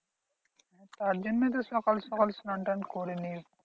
তারজন্যই তো সকাল সকাল স্নান টান করে নিয়েছি।